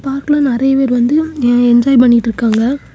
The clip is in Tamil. பார்க்குல நறைய பேர் வந்து அஅ என்ஜாய் பண்ணிட்டுருக்காங்க.